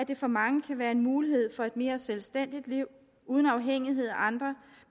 det for mange kan være en mulighed for et mere selvstændigt liv uden afhængighed af andre